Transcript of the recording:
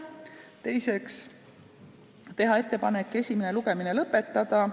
Teiseks otsustati teha ettepanek esimene lugemine lõpetada.